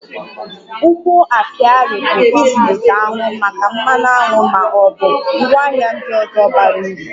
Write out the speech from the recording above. Ugbo apiarị bụ ịzụlite aṅụ maka mmanụ aṅụ ma ọ bụ ngwaahịa ndị ọzọ bara uru